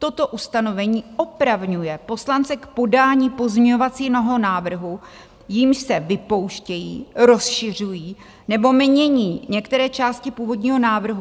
Toto ustanovení opravňuje poslance k podání pozměňovacího návrhu, jímž se vypouštějí, rozšiřují nebo mění některé části původního návrhu.